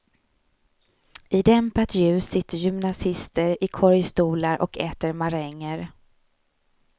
I dämpat ljus sitter gymnasister i korgstolar och äter maränger.